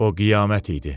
O qiyamət idi.